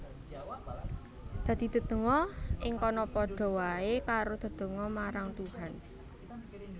Dadi dedonga ing kono padha waé karo dedonga marang Tuhan